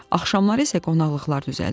Axşamları isə qonaqlıqlar düzəldirdi.